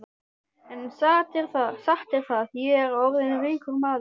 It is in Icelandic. En satt er það, ég er orðinn ríkur maður.